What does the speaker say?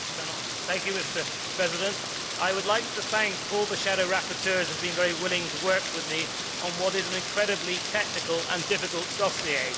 Mr President, I would like to thank all the shadow rapporteurs who have been very willing to work with me on what is an incredibly technical and difficult dossier.